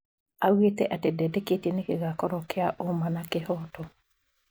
Augĩte atĩ ndetĩkĩtie nĩ gĩgakorwo kĩa ũma na kĩhoto.